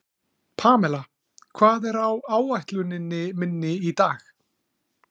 Pamela, hvað er á áætluninni minni í dag?